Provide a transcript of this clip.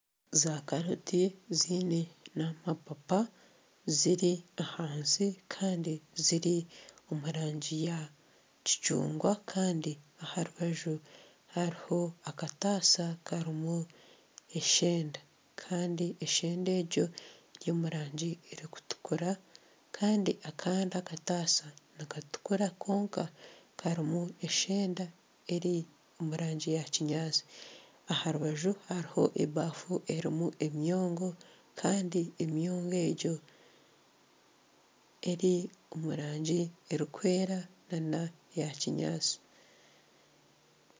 Zakaroti ziine n'amapapa ziri ahansi kandi ziri omu rangi ya kicungwa kandi aha rubaju hariho akatasa karimu eshenda kandi eshenda egyo eri omu rangi erikutukura kandi akandi akatasa nikatukura kwonka karimu eshenda eri omu rangi ya kinyaatsi aha rubaju hariho ebafu erimu emyongo kandi emyongo egyo eri omu rangi erikwera na na eya kinyaatsi.